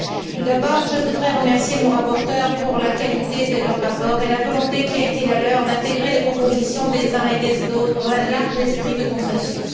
Tout d'abord, je voudrais remercier nos rapporteurs pour la qualité de leurs rapports et la volonté qui a été la leur d'intégrer les propositions des uns et des autres dans un large esprit de consensus.